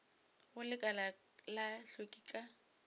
go lekala la hlweki ka